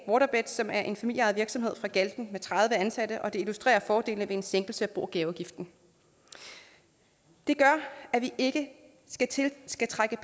waterbeds som er en familieejet virksomhed fra galten med tredive ansatte og det illustrerer fordelene ved en sænkelse af bo og gaveafgiften det gør at vi ikke skal trække